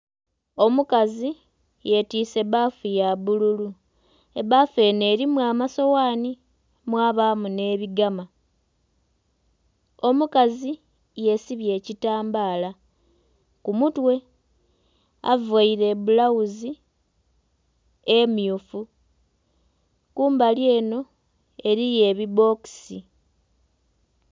Omukazi yetiise bbafu ya bbululu. Ebbafu enho elimu amasoghani mwabaamu nh'ebigama. Omukazi yesibye ekitambaala ku mutwe. Availe ebbulawuzi emmyufu. Kumbali enho eliyo ebibbokisi.